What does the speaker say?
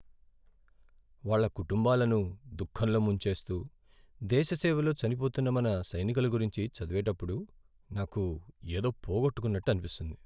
వాళ్ళ కుటుంబాలను దుఖంలో ముంచేస్తూ, దేశ సేవలో చనిపోతున్న మన సైనికుల గురించి చదివేటప్పుడు నాకు ఏదో పోగొట్టుకున్నట్టు అనిపిస్తుంది.